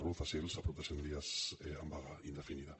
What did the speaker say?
ruz a sils amb prop de cent dies en vaga indefinida